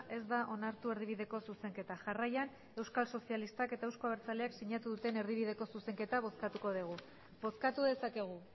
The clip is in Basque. ez da onartu erdibideko zuzenketa jarraian euskal sozialistak eta euzko abertzaleak sinatu duten erdibideko zuzenketa bozkatuko dugu bozkatu dezakegu